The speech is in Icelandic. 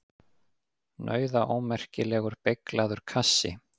Nauðaómerkilegur, beyglaður kassi!